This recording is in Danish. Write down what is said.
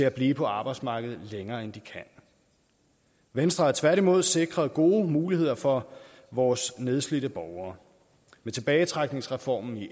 at blive på arbejdsmarkedet længere end de kan venstre har tværtimod sikret gode muligheder for vores nedslidte borgere med tilbagetrækningsreformen i